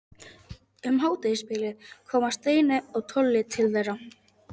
Um hádegisbilið koma Steini og Tolli til þeirra.